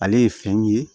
Ale ye fɛn ye